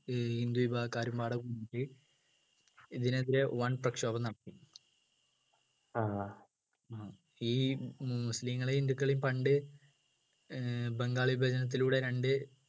ഏർ ഹിന്ദു വിഭാഗക്കാരും ഇതിനെതിരെ വൻപ്രക്ഷോപം നടത്തി ഈ മു മുസ്ലീങ്ങളെ ഹിന്ദുക്കളെയും പണ്ട് ഏർ ബംഗാളി വചനത്തിലൂടെ രണ്ട്